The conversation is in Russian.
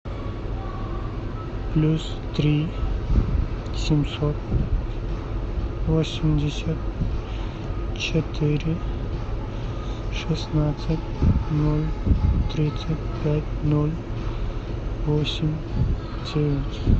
плюс три семьсот восемьдесят четыре шестнадцать ноль тридцать пять ноль восемь девять